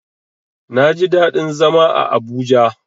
Naji daɗin zama a Abuja.